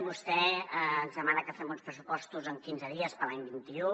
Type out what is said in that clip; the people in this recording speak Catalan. vostè ens demana que fem uns pressupostos en quinze dies per a l’any vint un